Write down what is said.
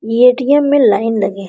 ये ए.टी.एम. मे लाइन लगे है ।